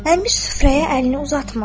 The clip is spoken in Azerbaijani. Əmir süfrəyə əlini uzatmırdı.